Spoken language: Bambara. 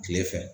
Kile fɛ